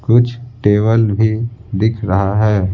कुछ टेबल भी दिख रहा हैं।